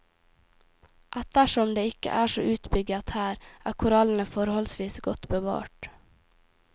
Ettersom det ikke er så utbygget her er korallene forholdsvis godt bevart.